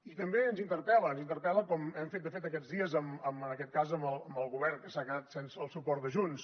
i també ens interpel·la ens interpel·la com hem fet de fet aquests dies en aquest cas amb el govern que s’ha quedat sense el suport de junts